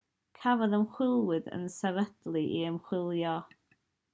cafodd ymchwiliad ei sefydlu i ymchwilio